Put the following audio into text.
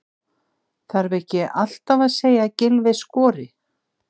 Þarf ekki alltaf að segja að Gylfi skori?